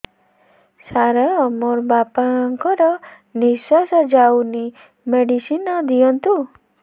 ସାର ମୋର ବାପା ଙ୍କର ନିଃଶ୍ବାସ ଯାଉନି ମେଡିସିନ ଦିଅନ୍ତୁ